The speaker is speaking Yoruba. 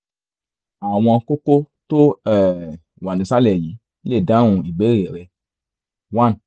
àwọn kókó tó um wà nísàlẹ̀ yìí lè dáhùn ìbéèrè rẹ one